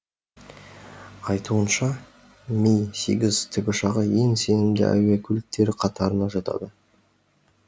айтуынша ми сегіз тікұшағы ең сенімді әуе көліктері қатарына жатады